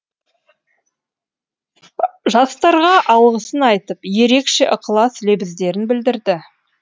жастарға алғысын айтып ерекше ықылас лебіздерін білдірді